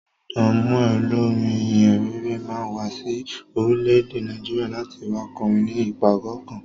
Don Moen, Olórin ìhìnrere, máa wá sí orílẹ̀-èdè Nàìjíríà, láti wá kọrin ni ìpàgọ́ kan.